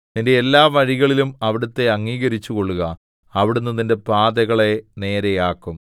നിന്റെ എല്ലാ വഴികളിലും അവിടുത്തെ അംഗീകരിച്ചുകൊള്ളുക അവിടുന്ന് നിന്റെ പാതകളെ നേരെയാക്കും